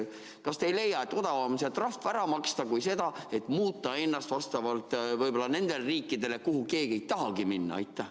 Kas te ei leia, et odavam on see trahv ära maksta kui seda, et muuta ennast võib-olla vastavalt nendele riikidele, kuhu keegi ei tahagi minna?